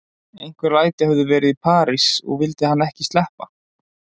Einhver læti höfðu verið í París og vildi hann ekki sleppa